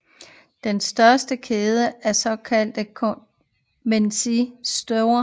Det er verdens største kæde af såkaldte convenience stores